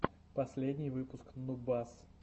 последний выпуск нубас